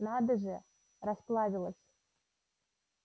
надо же расплавилась